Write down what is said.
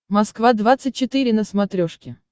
москва двадцать четыре на смотрешке